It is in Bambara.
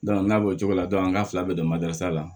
n'a b'o cogo la an ka fila bɛɛ bɛ la